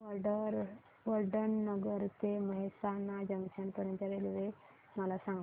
वडनगर ते मेहसाणा जंक्शन पर्यंत च्या रेल्वे मला सांगा